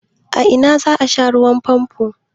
A ina za ka sha ruwan famfon?